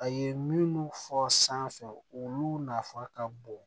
A ye minnu fɔ san fɛ olu nafa ka bon